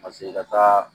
Paseke i ka taa